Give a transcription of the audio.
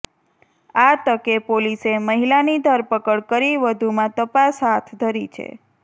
આ તકે પોલીસે મહિલાની ધરપકડ કરી વધુમાં તપાસ હાથધરી છે